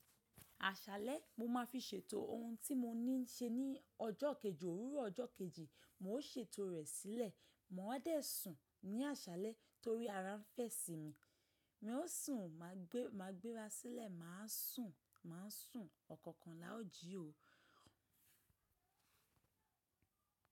Àsálẹ́ mo má fi ṣètò ohun tí mo ní ń ṣe ní ọjọ́ kejì. Òwúrọ̀ ọjọ́ kejì mo ó ṣe ètò rẹ̀ sílẹ̀. Mo á dẹ̀ sùn ní àṣálẹ́ torí ara ń fẹ̀ sí mi. Mi ó sùn, ma gbé, ma gbéra sílẹ̀, ma sùn, ma sùn. Ọ̀kọ̀ọ̀kan la ó jí o.